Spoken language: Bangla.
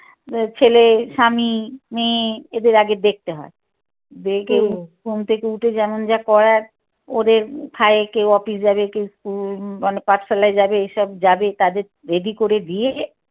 ছেলে স্বামী মেয়ে এদের আগে দেখতে হয়। দেখে ঘুম থেকে উঠে যেমন যা করার ওদের খায় কেউ office যাবে কেউ school মানে পাঠশালায় যাবে এসব যাবে তোদের ready করে দিয়ে